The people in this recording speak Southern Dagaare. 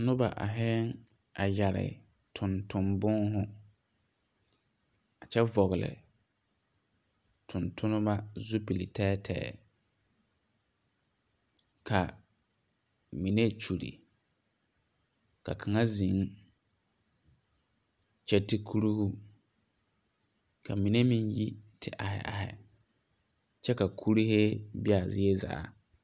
Noba aihiɛɛŋ a yɛre tonton bùùhù kyɛ vɔgle tontonnema zupile tɛɛtɛɛ ka mine kyulle ka kaŋa zeŋ kyɛ te kuruhu ka mine meŋ te aihi aihi kyɛ ka kuruyee be a zie zaa.